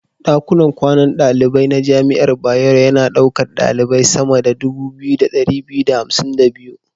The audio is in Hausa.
Ɗakunan kwanan daliban na jami'ar Bayero yana ɗaukar ɗalibai sama da 2252.